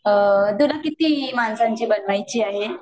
तुला किती माणसांची बनवायची आहे?